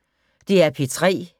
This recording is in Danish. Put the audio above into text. DR P3